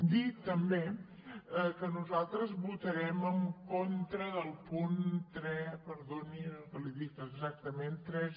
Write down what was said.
dir també que nosaltres votarem en contra del punt perdoni que li ho dic exactament tres